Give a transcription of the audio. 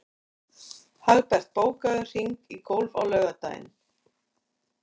Hagbert, bókaðu hring í golf á laugardaginn.